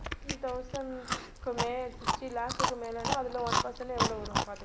sixty thousand க்கு மே~ sixty lakh க்கு மேலனா அதுல one percentage எவ்வளவு வரும் பார்த்துக்கோங்க